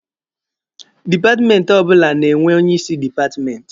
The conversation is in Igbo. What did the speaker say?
Dipatmenti ọbụla na-enwe onye isi dipatmenti.